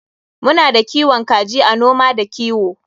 Muna da kiwon kaji a noma da kiwo.